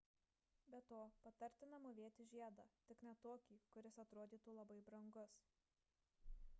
be to patartina mūvėti žiedą tik ne tokį kuris atrodytų labai brangus